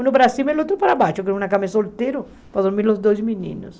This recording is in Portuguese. Um para cima e o outro para baixo, que era uma cama solteira para dormir os dois meninos.